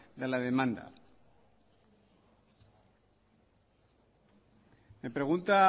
de la demanda me pregunta